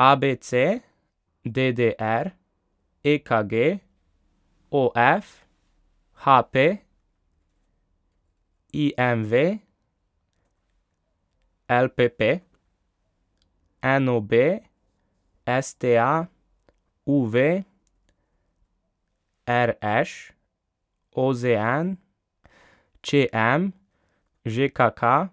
A B C; D D R; E K G; O F; H P; I M V; L P P; N O B; S T A; U V; R Š; O Z N; Č M; Ž K K;